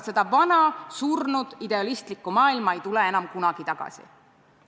Seda vana surnud idealistlikku maailma ei tule enam kunagi tagasi.